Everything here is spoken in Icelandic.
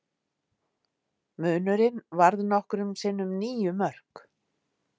Munurinn varð nokkrum sinnum níu mörk